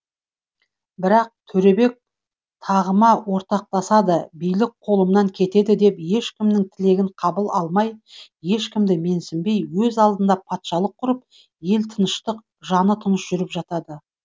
бірақ төребек тағыма ортақтасады билік қолымнан кетеді деп ешкімнің тілегін қабыл алмай ешкімді менсінбей өз алдына патшалық құрып елі тыныштық жаны тыныш жүріп жатады